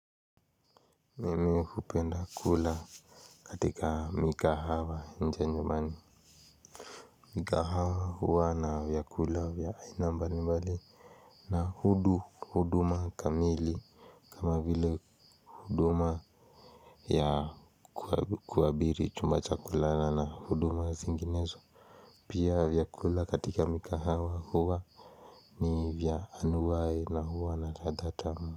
Mimi hupenda kula katika mikahawa nje nyumbani. Mikahawa huwa na vyakula vya aina mbali mbali. Na huduma kamili kama vile huduma ya kuabiri chumba cha kulala na huduma zinginezo. Pia vyakula katika mikahawa huwa ni vya anunuae na huwa na ladha tamu.